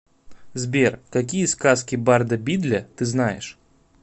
сбер какие сказки барда бидля ты знаешь